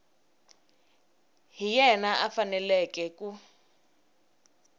hi yena a faneleke ku